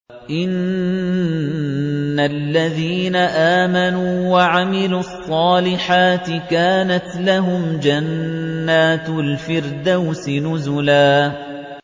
إِنَّ الَّذِينَ آمَنُوا وَعَمِلُوا الصَّالِحَاتِ كَانَتْ لَهُمْ جَنَّاتُ الْفِرْدَوْسِ نُزُلًا